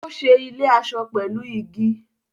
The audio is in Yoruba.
Ó ṣe ilé-aṣọ pẹ̀lú igi.